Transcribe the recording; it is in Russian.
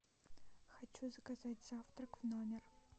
хочу заказать завтрак в номер